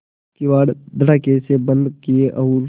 किवाड़ धड़ाकेसे बंद किये और